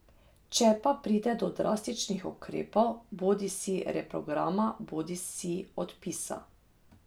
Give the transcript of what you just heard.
Če pa pride do drastičnih ukrepov, bodisi reprograma bodisi odpisa ...